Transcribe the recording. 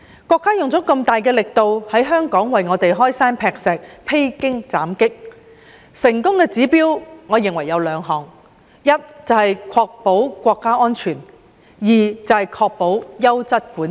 國家用了那麼大的力度，為香港開山劈石、披荊斬棘，我認為有兩項成功指標：第一，確保國家安全；第二，確保優質管治。